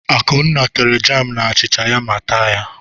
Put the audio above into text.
Akunna tere jam na achịcha ya ma taa ya.